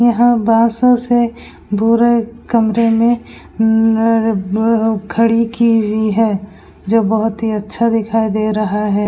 यहां बांसो से पूरे कमरे में अम्म अअअ खड़ी की वी है जो बहोत ही अच्छा दिखाई दे रहा है।